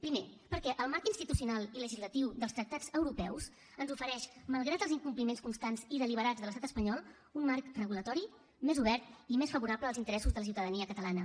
primer perquè el marc institucional i legislatiu dels tractats europeus ens ofereix malgrat els incompliments constants i deliberats de l’estat espanyol un marc regulador més obert i més favorable als interessos de la ciutadania catalana